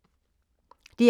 DR K